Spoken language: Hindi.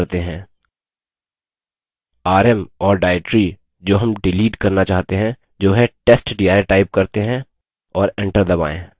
rm और directory जो rm डिलीट करना चाहते हैं जो है testdir type करते हैं और enter दबायें